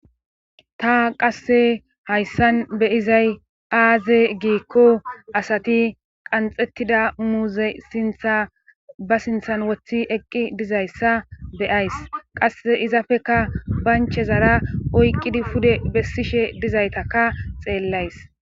ta qasse hayssan be'izay aaze giikko asati qanxettida muuze sintha ba sinthan wothi eqqi dizayssa beyays qasse izafeka banchezara oyqqidi pude bessishe dizaytakka xeellays